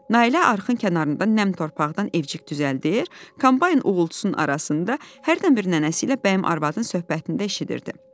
Nailə arxın kənarında nəmdən torpaqdan evcik düzəldir, kombayn uğultusunun arasında hərdən bir nənəsi ilə Bəyim arvadın söhbətini də eşidirdi.